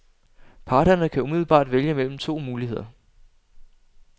Parterne kan umiddelbart vælge mellem to muligheder.